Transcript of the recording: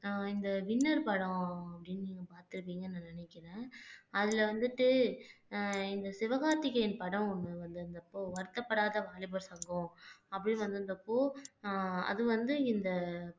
ஆஹ் இந்த வின்னர் படம் அப்படின்னு நீங்க பார்த்திருந்தீங்கன்னு நான் நினைக்கிறேன் அதுல வந்துட்டு அஹ் இந்த சிவகார்த்திகேயன் படம் ஒண்ணு வந்திருந்தப்போ வருத்தப்படாத வாலிபர் சங்கம் அப்படின்னு வந்திருந்தப்போ ஆஹ் அது வந்து இந்த